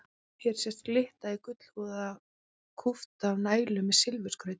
Hér sést glitta í gullhúðaða kúpta nælu með silfurskrauti.